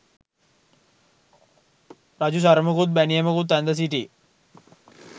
රජු සරමකුත් බැනියමකුත් ඇඳ සිටි